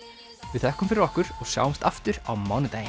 við þökkum fyrir okkur og sjáumst aftur á mánudaginn